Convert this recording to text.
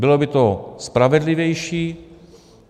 Bylo by to spravedlivější.